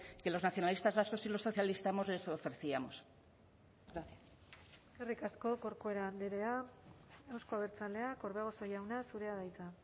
que los nacionalistas vascos y los socialistas les ofrecíamos gracias eskerrik asko corcuera andrea euzko abertzaleak orbegozo jauna zurea da hitza